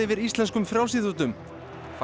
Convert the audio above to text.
íslenskum frjálsíþróttum